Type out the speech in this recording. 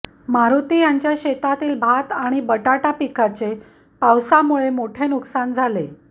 मारुती यांच्या शेतातील भात आणि बटाटा पिकाचे पावसामुळे मोठे नुकसान झाले